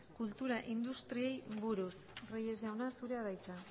kultura industriei buruz reyes jauna zurea da hitza